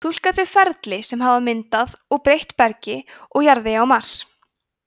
túlka þau ferli sem hafa myndað og breytt bergi og jarðvegi á mars